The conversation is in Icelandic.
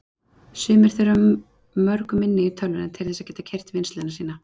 Sumir þurfa mörg minni í tölvuna til þess að geta keyrt vinnsluna sína.